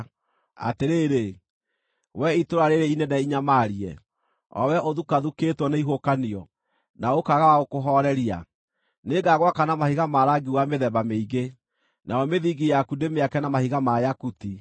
“Atĩrĩrĩ, wee itũũra rĩĩrĩ inene inyamarie, o wee ũthukathukĩtwo nĩ ihuhũkanio, na ũkaaga wa gũkũhooreria, nĩngagwaka na mahiga ma rangi wa mĩthemba mĩingĩ, nayo mĩthingi yaku ndĩmĩake na mahiga ma yakuti.